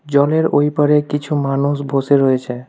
জলের ওই পারে কিছু মানুষ বসে রয়েছে।